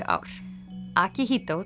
ár